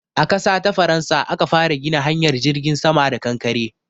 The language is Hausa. A ƙasa ta Faransa aka fara gina hanyar jirgin sama da kankare.